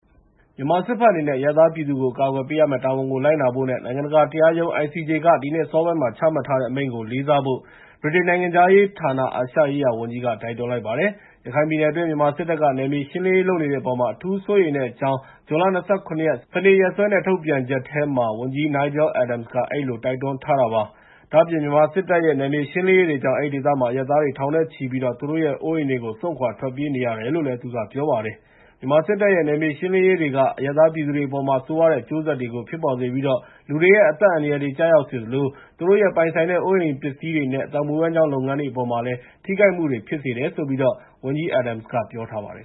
မြန်မာစစ်ဘက်အနေနဲ့ အရပ်သားပြည်သူတွေကို အကာအကွယ်ပေးရမယ့် တာဝန်ကို လိုက်နာဖို့နဲ့ နိုင်ငံတကာ တရားခုံရုံး (ICJ) က ဒီနှစ်အစောပိုင်းမှာ ချမှတ်ထားတဲ့ အမိန့်ကို လေးစားဖို့ ဗြိတိန်နိုင်ငံခြားရေးဌာန၊ အာရှရေးရာဝန်ကြီးနဲ့ မြန်မာနိုင်ငံအခြေစိုက် သံတမန်တွေက တိုက်တွန်းလိုက်ပါတယ်။ ရခိုင်ပြည်နယ်တွင်း မြန်မာစစ်တပ်က နယ်မြေရှင်းလင်းရေး လုပ်နေတဲ့အပေါ် အထူးစိုးရိမ်တဲ့အကြောင်း ဇွန်လ ၂၇ ရက်၊ စနေနေ့ရက်စွဲနဲ့ ထုတ်ပြန်ချက်ထဲမှာ ဝန်ကြီး Nigel Adams က အဲဒီလို တိုက်တွန်းထားတာပါ။ မြန်မာနိုင်ငံအခြေစိုက် သြစတြေးလျ၊ ကနေဒါ၊ ယူကေနဲ့ အမေရိကန် သံတမန်တွေကလည်း အလားတူ တိုက်တွန်းချက်တခုကို တရက်တည်းမှာပဲ ထုတ်ပြန်တာ ဖြစ်ပါတယ်။ မြန်မာစစ်တပ်ရဲ့ နယ်မြေရှင်းလင်းရေးတွေက အရပ်သား ပြည်သူတွေအပေါ်မှာ ဆိုးရွားတဲ့ အကျိုးဆက်တွေကို ဖြစ်ပေါ်စေပြီး လူတွေရဲ့ အသက်အန္တရာယ်တွေ ကျရောက်စေသလို သူတို့ရဲ့ ပိုင်ဆိုင်တဲ့ အိုးအိမ်ပစ္စည်းတွေနဲ့ အသက်မွေးဝမ်းကျောင်း လုပ်ငန်းတွေအပေါ်မှာ ထိခိုက်မှုတွေ ဖြစ်စေတယ်လို့လည်း ဝန်ကြီး Adams က ပြောထားပါတယ်